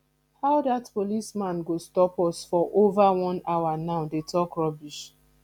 how dat policeman go stop us for over one hour now dey talk rubbish